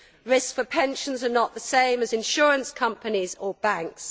Risks for pensions are not the same as insurance companies or banks.